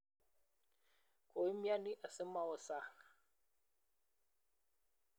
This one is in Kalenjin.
koimyoni asimawo sang'